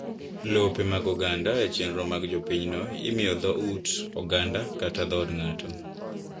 Lope mag oganda e chenro mag jopinyno imiyo dho ut oganadakata dhoot ng'ato.